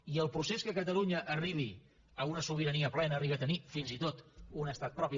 i el procés que catalunya arribi a una sobirania plena i arribi a tenir fins i tot un estat propi